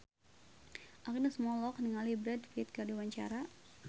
Agnes Mo olohok ningali Brad Pitt keur diwawancara